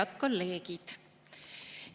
Head kolleegid!